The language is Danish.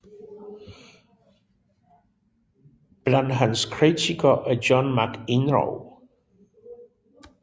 Blandt hans kritikere er John McEnroe